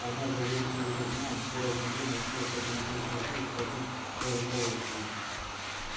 однажды он выпрыгнул из окна горящего дома успев только натянуть трусы и схватить руководство